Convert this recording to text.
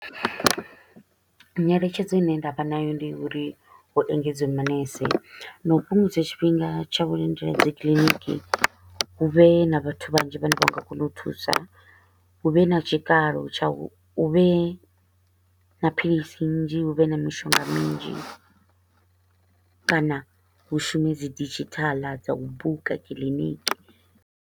Nyeletshedzo i ne nda vha nayo ndi uri hu engedziwe manese na u fhungudza tshifhinga tsha u lindela dzi clinic, hu vhe na vhathu vhanzhi vha ne vha nga kona u thusa, hu vhe na tshikalo tsha u hu vhe na philisi nnzhi, hu vhe na mishonga minzhi kana hu shume dzi digital dza u buka clinic.